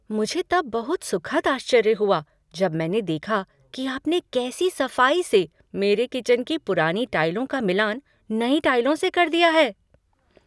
मुझे तब बहुत सुखद आश्चर्य हुआ जब मैंने देखा कि आपने कैसी सफाई से मेरे किचन की पुरानी टाइलों का मिलान नई टाइलों से कर दिया है।